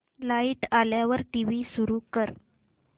light आल्यावर TV सुरू कर